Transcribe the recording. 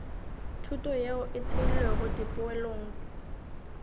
thuto yeo e theilwego dipoelong